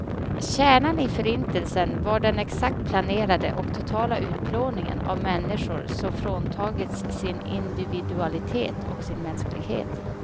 Kärnan i förintelsen var den exakt planerade och totala utplåningen av människor som fråntagits sin individualitet och sin mänsklighet.